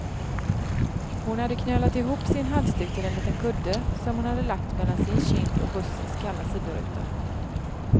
Hon hade knölat ihop sin halsduk till en liten kudde, som hon hade lagt mellan sin kind och bussens kalla sidoruta.